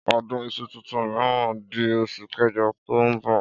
Ọdún iṣu tuntun mìíràn di osù kéjọ ọdún tó ń bọ̀.